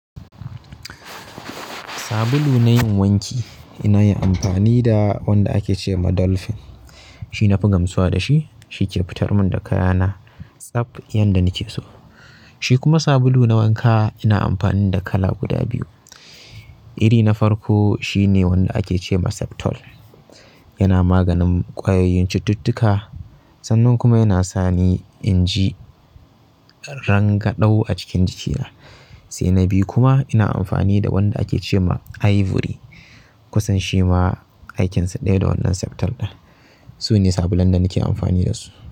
Sabulu na yin wanki, ina yi amfani da wanda ake ce ma Dolphin. Shi na fi gamsuwa da shi, shi ke fitar mun da kaya na tsaf yanda nike so. Shi kuma sabulu na wanka ina amfani da kala guda biyu. Iri na farko shine, wanda ake ce ma Septol, yana maganin ƙwayoyin cututtuka sannan kuma yana sani in ji rangadau a cikin jikina. Sai na biyu kuma, ina amfani da wanda ake ce ma Ivory. Kusan shima aikinsa ɗaya da wannan Septol ɗin. Sune sabulan da nike amfani da su.